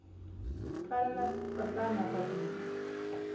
tsalela tatana papila